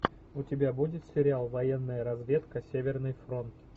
у тебя будет сериал военная разведка северный фронт